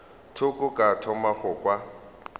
thoko ka thoma go kwa